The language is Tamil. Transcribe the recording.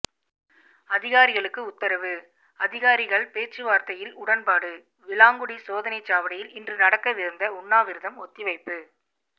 அதிகாரிகளுக்கு உத்தரவு அதிகாரிகள் பேச்சுவார்த்தையில் உடன்பாடு விளாங்குடி சோதனைச்சாவடியில் இன்று நடக்கவிருந்த உண்ணாவிரதம் ஒத்தி வைப்பு